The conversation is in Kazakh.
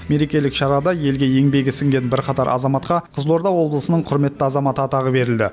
мерекелік шарада елге еңбегі сіңген бірқатар азаматқа қызылорда облысының құрметті азаматы атағы берілді